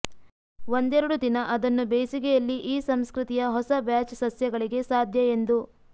ಒಂದೆರಡು ದಿನ ಅದನ್ನು ಬೇಸಿಗೆಯಲ್ಲಿ ಈ ಸಂಸ್ಕೃತಿಯ ಹೊಸ ಬ್ಯಾಚ್ ಸಸ್ಯಗಳಿಗೆ ಸಾಧ್ಯ ಎಂದು